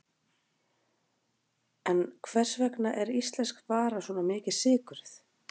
En hvers vegna er íslensk vara svona mikið sykruð?